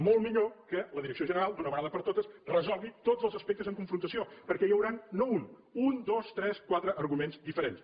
molt millor que la direcció general d’una vegada per totes resolgui tots els aspectes en confrontació perquè n’hi hauran no un un dos tres quatre arguments diferents